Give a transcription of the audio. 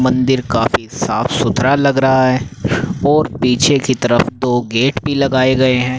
मंदिर काफी साफ सुथरा लग रहा है और पीछे की तरफ दो गेट भी लगाए गए हैं।